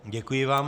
Děkuji vám.